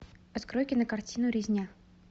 открой кинокартину резня